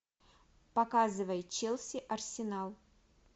показывай челси арсенал